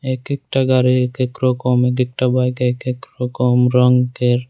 এক একটা গাড়ি এক এক রকম এক একটা বাইক এক এক রকম রঙ্গের।